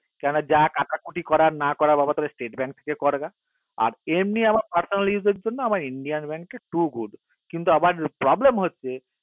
কেননা যা কাটা কুটি করার না করার বাবা তোরা state bank থেকে কার এবার আর এমনি আমার personal use এর জন্য আমার indian bank to good কিন্তু আবার problem হচ্ছে